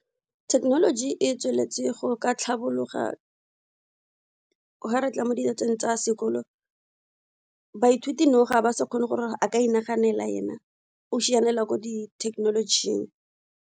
Thekenoloji e tsweletse go ka tlhabologa ga re tla mo tsa sekolo baithuti now ga ba sa kgone gore a ka inaganela ena o sianela ko di thekenolojing.